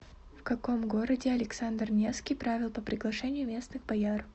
в каком городе александр невский правил по приглашению местных бояр